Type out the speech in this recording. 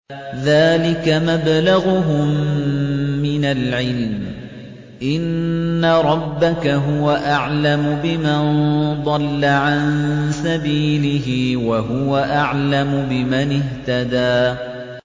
ذَٰلِكَ مَبْلَغُهُم مِّنَ الْعِلْمِ ۚ إِنَّ رَبَّكَ هُوَ أَعْلَمُ بِمَن ضَلَّ عَن سَبِيلِهِ وَهُوَ أَعْلَمُ بِمَنِ اهْتَدَىٰ